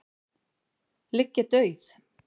ligg ég dauð.